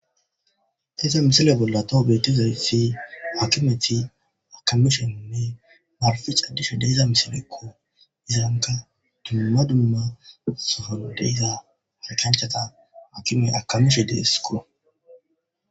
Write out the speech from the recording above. deeza misile bolla toho beetizaysi hakimeti akamisheinne maarafe caddishe deeza misilekko izaanka dumma dumma sohodeyza haariganchata akime akamishe deeskoo